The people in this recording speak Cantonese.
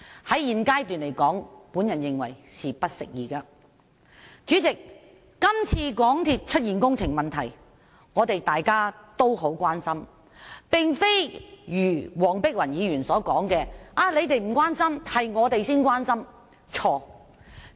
主席，今次香港鐵路有限公司出現工程問題，大家都十分關心，並非如黃碧雲議員所說的我們不關心，他們才關心。